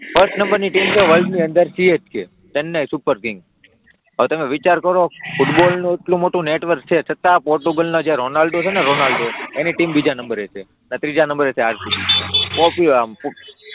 first નંબરની team છે world ની અંદર CSK ચેન્નઈ સુપર કિંગ હવે તમે વિચાર કરો ફૂટબોલનું એટલું મોટું નેટવર્ક છે છતાં પોર્ટુગલના જે રોનાલ્ડો છે ને રોનાલ્ડો એની ટીમ બીજા નંબરે છે અને ત્રીજા નંબરે છે ને RCB